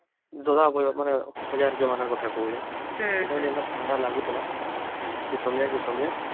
ଦାଦା ର ଜମାନ କଥା କହୁଛେ ସେ କଲେ ଯୋଉ ଥଣ୍ଡା ଲାଗୁଥିଲା ସେ ସମୟ ଆଉ ଏ ସମୟ